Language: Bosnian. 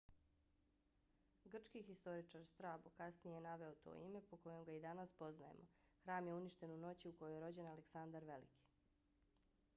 grčki historičar strabo kasnije je naveo to ime po kojem ga i danas poznajemo. hram je uništen u noći u kojoj je rođen aleksandar veliki